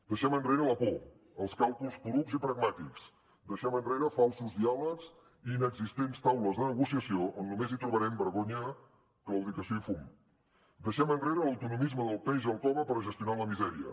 deixem enrere la por els càlculs porucs i pragmàtics deixem enrere falsos diàlegs i inexistents taules de negociació on només hi trobarem vergonya claudicació i fum deixem enrere l’autonomisme del peix al cove per gestionar la misèria